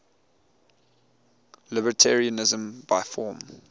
libertarianism by form